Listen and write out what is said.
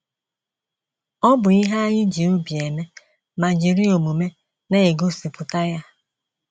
Ọ bụ ihe anyị ji obi eme ma jiri omume na-egosipụta ya.